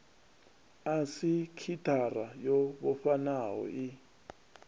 a sekithara yo vhofhanaho i